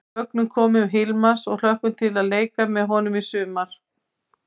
Við fögnum komu Hilmars og hlökkum til að leika með honum í sumar!